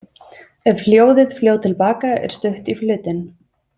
Ef hljóðið fljót til baka er stutt í hlutinn.